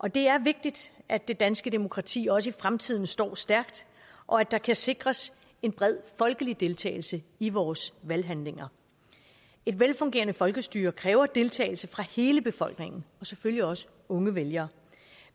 og det er vigtigt at det danske demokrati også i fremtiden står stærkt og at der kan sikres en bred folkelig deltagelse i vores valghandlinger et velfungerende folkestyre kræver deltagelse fra hele befolkningen og selvfølgelig også unge vælgere